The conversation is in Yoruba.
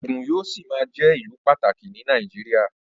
Ògùn yóò ṣì máa jẹ́ ìlù pàtàkì ní Nàìjíríà